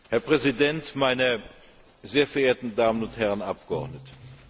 Herr Präsident, meine sehr verehrten Damen und Herren Abgeordneten!